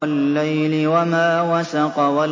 وَاللَّيْلِ وَمَا وَسَقَ